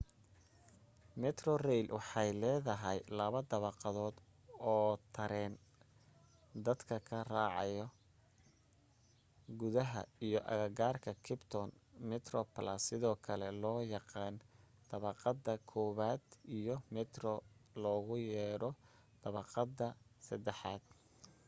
metrorail waxay leedahay laba dabaqadood oo tareen dadka ka raacaan gudaha iyo agagaarka capetown: metroplus sidoo kale loo yaqaan dabaqada koobaad iyo metro loogu yeedho dabaqadda saddexaad